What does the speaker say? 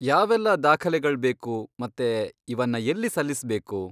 ಯಾವೆಲ್ಲ ದಾಖಲೆಗಳ್ಬೇಕು ಮತ್ತೆ ಇವನ್ನ ಎಲ್ಲಿ ಸಲ್ಲಿಸ್ಬೇಕು?